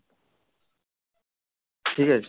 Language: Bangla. ঠিক আছে